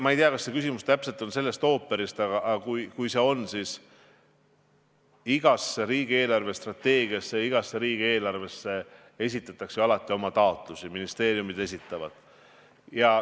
Ma ei tea, kas see küsimus on sellest ooperist, aga kui on, siis vastan, et riigi eelarvestrateegia ja riigieelarve koostamisel esitavad ministeeriumid alati oma taotlusi.